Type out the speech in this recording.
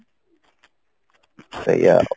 ସେଇଆ